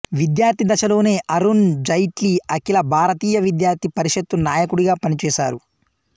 విద్యార్థి దశలోనే అరుణ్ జైట్లీ అఖిల భారతీయ విద్యార్థి పరిషత్తు నాయకుడుగా పనిచేశారు